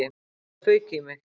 Já, það fauk í mig.